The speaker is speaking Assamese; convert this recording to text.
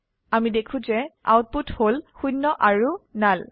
আমি দেখো যে আউটপুট হল শূন্য আৰু নাল